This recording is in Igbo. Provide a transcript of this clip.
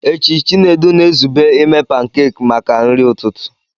Echi, Chinedu na-ezube ime pancakes maka nri ụtụtụ.